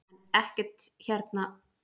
Er ekkert hérna um vísindi í Kína til forna?